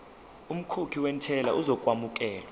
umkhokhi wentela uzokwamukelwa